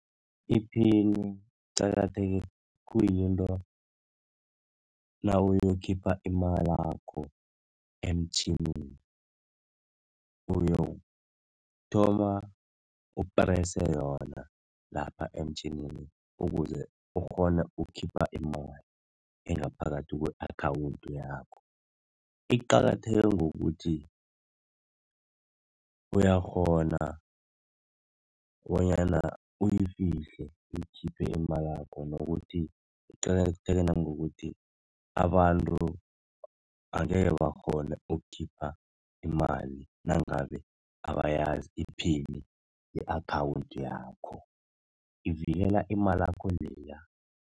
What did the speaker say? Iphini iqakatheke, kuyinto nawuyokukhipha imalakho emtjhinini uyokuthoma uprese yona lapha emtjhinini, ukuze ukghone ukukhipha imali engaphakathi kwe-akhawundi yakho. Iqakatheke ngokuthi uyakghona bonyana uyifihle, uyikhiphe imalakho nokuthi, iqakatheke nangokuthi abantu angekhe bakghone ukukhipha imali nangabe abayazi iphini i-akhawundi yakho. Ivikela imalakho leya.